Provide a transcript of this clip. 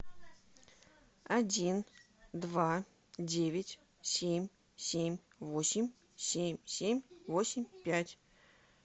один два девять семь семь восемь семь семь восемь пять